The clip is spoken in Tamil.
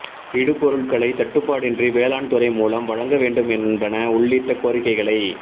இடு பொருள்களை தட்டுப்பாடின்றி வேளாண் துறை மூலம் வழங்க வேண்டும் என்பன உள்ளிட்ட கோரிக்கைகளை